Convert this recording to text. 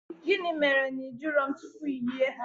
Gịnị mere na ị jụrụ m tupu iyi ha?